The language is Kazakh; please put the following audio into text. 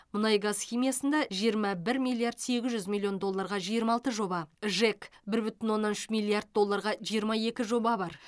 мұнайгаз химиясында жиырма бір миллиард сегіз жүз миллион долларға жиырма алты жоба жэк бір бүтін оннан үш миллиард долларға жиырма екі жоба бар